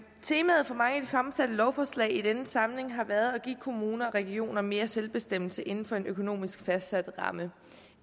temaet for mig i de fremsatte lovforslag i denne samling har været at give kommuner og regioner mere selvbestemmelse inden for en økonomisk fastsat ramme